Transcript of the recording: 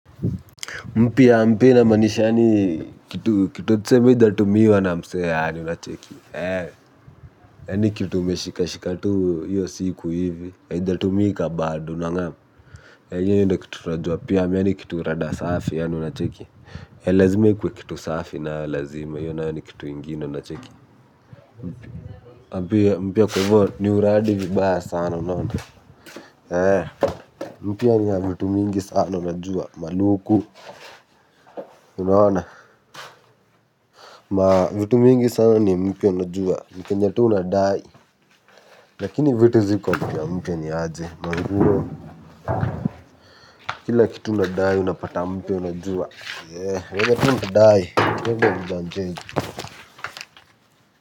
Mpya mpya inamaanisha yaani kitu kitu tuseme ijatumiwa na mse yaani unacheki, yaani kitu umeshika shika tu hiyo siku hivi haijatumika bado unangam, hiyo ndio kitu tunajua pyam, yaani kitu rada safi yaani unacheki, lazima ikuwe kitu safi nayo lazima, hiyo nayo ni kitu ingine unacheki mpya mpya kwa hivyo ni uradi vibaya sana unaona, mpya ni ya vitu mingi sana unajua, maluku unaona mavitu mingi sana ni mpya unajua vitu nye tuunadai lakini vitu ziko mpya mpya niaje manguo kila kitu unadai unapata mpya unajua yenye tu unadai hiyo mpyanjez.